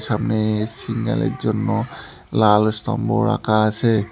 সামনে সিগনাল -এর জন্য লাল স্তম্ভ রাখা আসে।